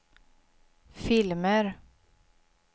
filmer